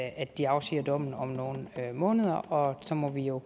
at de afsiger dommen om nogle måneder og så må vi jo